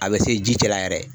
A bɛ se ji cɛ la yɛrɛ.